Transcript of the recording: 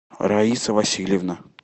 раиса васильевна